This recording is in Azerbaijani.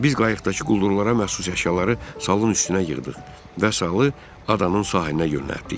Biz qayıqdakı quldurlara məxsus əşyaları salın üstünə yığdıq və salı adanın sahilinə yönəltdik.